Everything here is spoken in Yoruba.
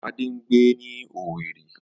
Ade ń gbé ní Owerri